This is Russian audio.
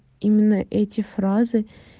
именно эти фразы